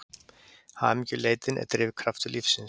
Hamingjuleitin er drifkraftur lífsins.